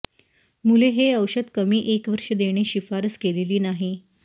मुले हे औषध कमी एक वर्ष देणे शिफारस केलेली नाही